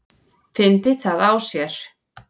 Fyndi það á sér.